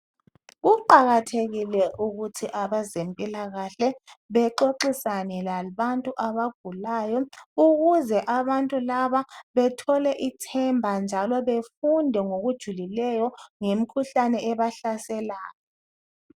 Kuqakathekile ukuthi abezempilakahle bexoxisane labantu abagulayo ukuze abantu laba bethole ithemba njalo befunde ngokujulileyo ngemkhuhlane ebahlaselayo.